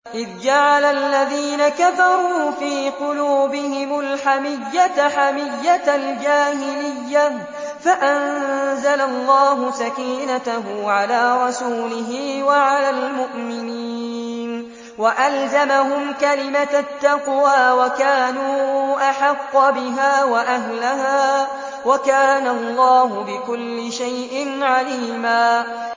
إِذْ جَعَلَ الَّذِينَ كَفَرُوا فِي قُلُوبِهِمُ الْحَمِيَّةَ حَمِيَّةَ الْجَاهِلِيَّةِ فَأَنزَلَ اللَّهُ سَكِينَتَهُ عَلَىٰ رَسُولِهِ وَعَلَى الْمُؤْمِنِينَ وَأَلْزَمَهُمْ كَلِمَةَ التَّقْوَىٰ وَكَانُوا أَحَقَّ بِهَا وَأَهْلَهَا ۚ وَكَانَ اللَّهُ بِكُلِّ شَيْءٍ عَلِيمًا